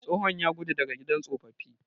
Tsohon ya gudu daga gidan tsofaffi.